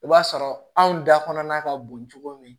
I b'a sɔrɔ anw da kɔnɔna ka bon cogo min